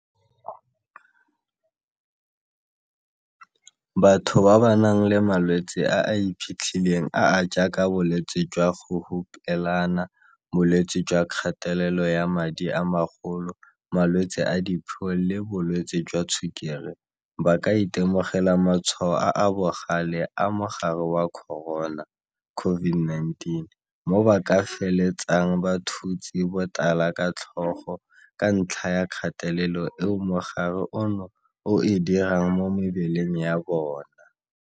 Batho ba ba nang le malwetse a a iphitlhileng a a jaaka bolwetse jwa go hupelana, bolwetse jwa kgatelelo ya madi a magolo, malwetse a diphio le bolwetse jwa tshukiri ba ka itemogela matshwao a a bogale a mogare wa corona COVID-19, mo ba ka feletsang ba thutse botala ka tlhogo ka ntlha ya kgatelelo eo mogare ono o e dirang mo mebeleng ya bona.